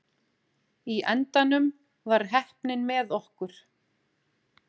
Í endanum var heppnin með okkur.